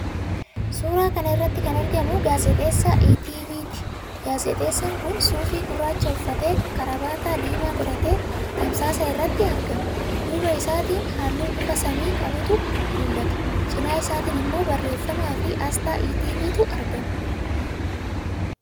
Suuraa kana irratti kan argamu gaazexeessaa ETV'ti. Gaazexeessaan kun suufii gurraacha uffatee, kaarabaata diimaa godhatee tamsaasa irratti argama. Duuba isaatiin halluu bifa samii qabutu mul'ata. Cina isaatiin immoo barreeffamaafi aasxaa ETV'tu argama.